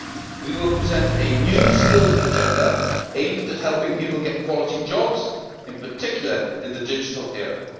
We will present a new skills agenda aimed at helping people get quality jobs, in particular in the digital era.